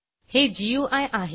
हे गुई आहे